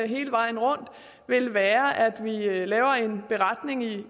hele vejen rundt vil være at vi laver en beretning i